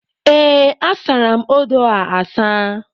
Ee, asara m odo a asa.